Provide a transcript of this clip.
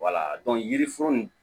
yiri foro nin